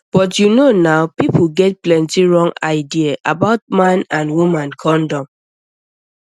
but you know na people get plenty wrong idea about man and woman condom